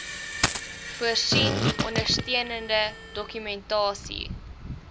voorsien ondersteunende dokumentasie